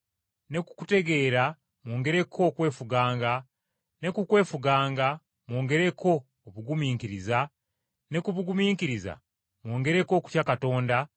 ne ku kutegeera mwongereko okwefuganga, ne ku kwefuganga mwongereko obugumiikiriza, ne ku bugumiikiriza mwongereko okutya Katonda,